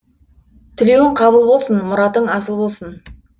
тілеуің қабыл болсын мұратың асыл болсын